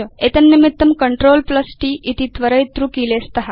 एतन्निमित्तं CTRLT इति त्वरयितृकीले स्त